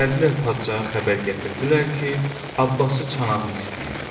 Gəldilər padşaha xəbər gətirdilər ki, abbası çanağını istəyir.